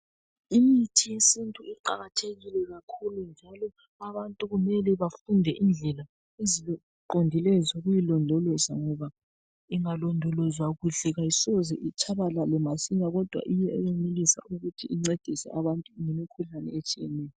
Imithi yesintu iqakathekile kakhulu njalo abantu kumele bafunde indlela eziqondileyo zokuyilondoloza ,ngoba ingalondolozwa kuhle kayisoze itshabalale masinya kodwa iyenelisa ukuthi incedise abantu kumikhuhlane etshiyeneyo.